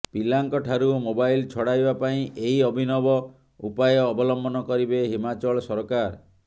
ପିଲାଙ୍କଠାରୁ mobile ଛଡ଼ାଇବା ପାଇଁ ଏହି ଅଭିନବ ଉପାୟ ଅବଲମ୍ବନ କରିବେ ହିମାଚଳ ସରକାର